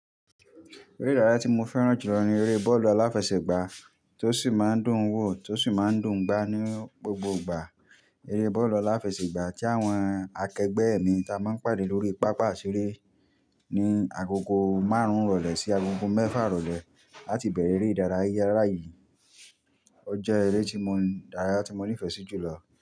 Eré ìdárayá tí mo fẹ́ràn jù lọ ni eré bọ́ọ̀lù aláfẹsẹ̀gbá tó sì máa ń dùn wò, tó sì máa ń dùn gbá ní gbogbo ìgbà. Eré bọ́ọ̀lù aláfẹsẹ̀gbá tí àwọn akẹgbẹ́ ẹ̀ mi ta máa ń pàdé lórí pápá ìṣeré ní agogo márùn ìrọ̀lẹ́ sí agogo mẹ́fà ìrọ̀lẹ́ áti bẹ̀rẹ̀ eré ìdárayá. Eyìí jẹ́ eré ìdárayá tí mo nífẹ̀ẹ́ sí jù lọ.